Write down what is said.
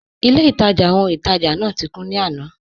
Ilẹ̀-ìtajá ọhun-ìtajá náà ti kùn ní àná.